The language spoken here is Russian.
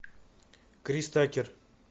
крис такер